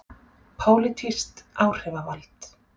Pólitískt áhrifavald.